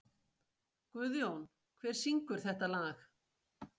Guðjón, hver syngur þetta lag?